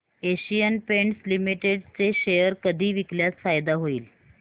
Asian Paints Limited चे share कधी विकल्यास फायदा होईल